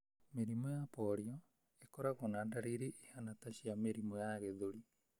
Mĩrimũ ya polio ũkoragwo na ndariri ihana ta cia mũrimũ wa gĩthũri.